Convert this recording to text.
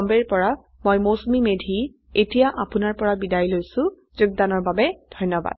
I I T Bombay ৰ পৰা মই মৌচুমী মেধী এতিয়া আপুনাৰ পৰা বিদায় লৈছো যোগদানৰ বাবে ধন্যবাদ